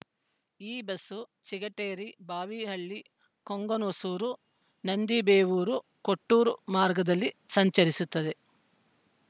ಈ ಬಸ್ಸು ಚಿಗಟೇರಿ ಬಾವಿಹಳ್ಳಿ ಕೊಂಗನಹೊಸೂರು ನಂದಿಬೇವೂರು ಕೊಟ್ಟೂರು ಮಾರ್ಗದಲ್ಲಿ ಸಂಚರಿಸುತ್ತದೆ